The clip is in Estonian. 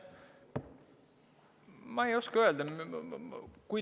Ma ei oska öelda.